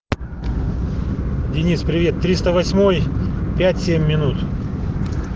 денис привет триста восьмой пять семь минут